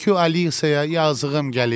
Tülkü Alisaya yazığım gəlir.